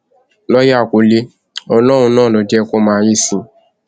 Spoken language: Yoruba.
lọọọyà kúnlẹ ọlọrun náà ló ń jẹ kó máa yìísì